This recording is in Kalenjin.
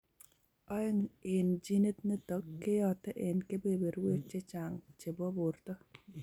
Oeng' en genit nitok keyote en kebeberwek chechang' chebo borto